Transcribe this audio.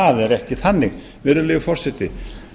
það er ekki þannig virðulegi forseti